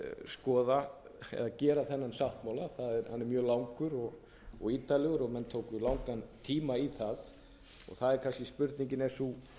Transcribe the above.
skoða eða gera þennan sáttmála hann er mjög langur og ítarlegur og menn tóku langan tíma í það og spurningin er sú